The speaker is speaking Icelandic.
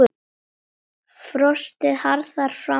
Frostið harðnar fram að helgi.